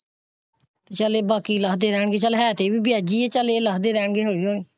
ਚੱਲ ਬਾਕੀ ਲਾਹ ਦੇਂ ਰਹਿਣ ਗਏ ਹੈ ਤੇ ਇਹ ਵੀ ਵਿਆਜੀ ਚੱਲ ਇਹ ਲੱਥਦੇ ਰਹਿਣ ਗਏ ਹੋਲੀ ਹੋਲੀ।